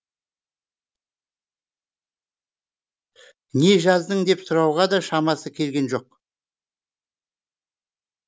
не жаздын деп сұрауға да шамасы келген жоқ